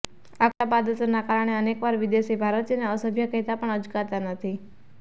આ ખરાબ આદતોના કારણે અનેકવાર વિદેશી ભારતીયોને અસભ્ય કહેતા પણ અચકાતા નથી